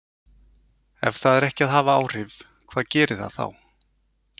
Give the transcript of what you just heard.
Ef það er ekki að hafa áhrif, hvað gerir það þá?